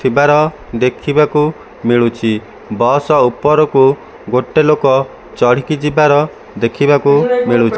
ଥିବାର ଦେଖିବାକୁ ମିଳୁଚି ବସ ଉପରକୁ ଗୋଟେ ଲୋକ ଚଢିକି ଯିବାର ଦେଖିବାକୁ ମିଳୁଚି।